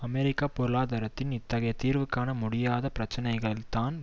அமெரிக்க பொருளாதாரத்தின் இத்தகைய தீர்வுகாண முடியாத பிரச்சனைகள் தான்